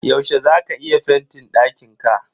Yaushe za ka yi fentin dakinka?